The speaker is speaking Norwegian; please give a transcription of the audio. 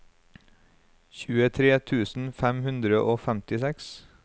tjuetre tusen fem hundre og femtiseks